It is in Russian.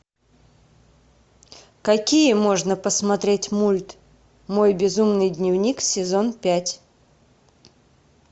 какие можно посмотреть мульт мой безумный дневник сезон пять